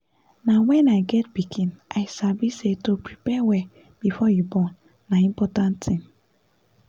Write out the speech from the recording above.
na wen i get pikin i sabi say to prepare well before you born na important thing